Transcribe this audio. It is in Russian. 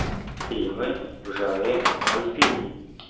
фильмы в жанре мультфильм